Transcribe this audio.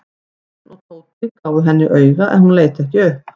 Örn og Tóti gáfu henni auga en hún leit ekki upp.